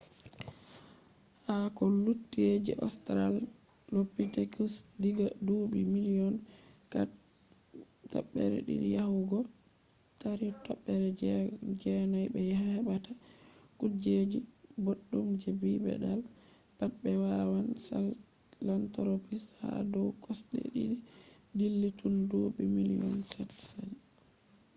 ha ko lutti je ostralopitekus diga duuɓi miliyon 4.2 yahugo 3.9 ɓe heɓata kuejeji boɗɗum je bipedal pat be wawan sahelantropus ha dow kosɗe ɗiɗi dilli tun duuɓi miliyon 7 sali